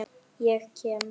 Ég kem.